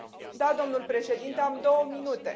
Da, domnule președinte, am două minute.